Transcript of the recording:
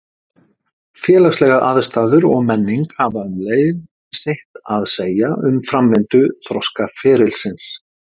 Félagslegar aðstæður og menning hafa um leið sitt að segja um framvindu þroskaferilsins.